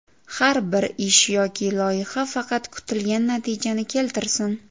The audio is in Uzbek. Har bir ish yoki loyiha faqat kutilgan natijani keltirsin.